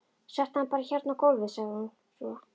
Settu hann bara hérna á gólfið, sagði hún svo.